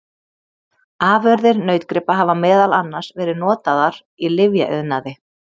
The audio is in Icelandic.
Afurðir nautgripa hafa meðal annars verið notaðar í lyfjaiðnaði.